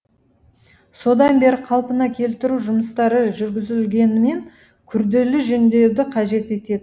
содан бері қалпына келтіру жұмыстары жүргізілгенімен күрделі жөндеуді қажет етеді